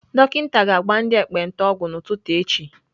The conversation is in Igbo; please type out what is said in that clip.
Dọkịta ga-agba ndị ekpenta ọgwụ n'ụtụtụ echi.